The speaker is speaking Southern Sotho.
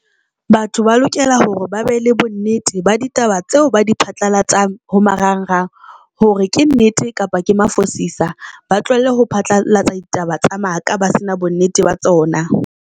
Batho ba lokela hore ba be le bonnete ba ditaba tseo ba di phatlalatsang ho marangrang hore ke nnete kapa ke mafosisa, ba tlohelle ho phatlalatsa ditaba tsa maka, ba se na bonnete ba tsona.